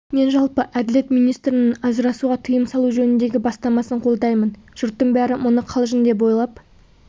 мен жалпы әділет министрінің ажырасуға тыйым салу жөніндегі бастамасын қолдаймын жұрттың бәрі мұны қалжың деп ойлап